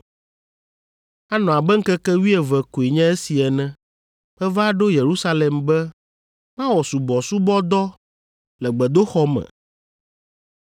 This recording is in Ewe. Anɔ abe ŋkeke wuieve koe nye esi ene, meva ɖo Yerusalem be mawɔ subɔsubɔdɔ le gbedoxɔ me.